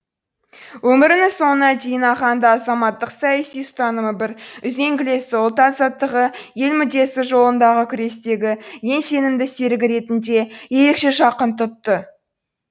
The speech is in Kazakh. өмірінің соңына дейін ахаңды азаматтық саяси ұстанымы бір үзеңгілесі ұлт азаттығы ел мүддесі жолындағы күрестегі ең сенімді серігі ретінде ерекше жақын тұтты